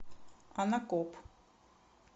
анакоп